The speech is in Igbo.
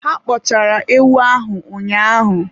Ha kpọchara ewu ahụ ụnyaahụ